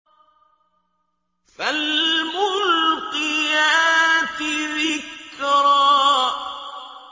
فَالْمُلْقِيَاتِ ذِكْرًا